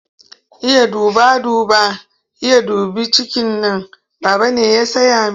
Iya duba duba, Iya dubi cikina, Baba ne ya saya min.